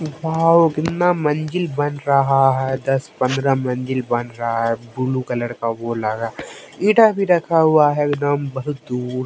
Wow कितना मंजिल बन रहा है दस पंद्रह मंजिल बन रहा है ब्लू कलर का वो लगा ईटा भी रखा हुआ है एकदम बहुत दूर।